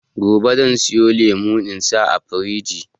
Gobe zan siyo lemo in sa a firiji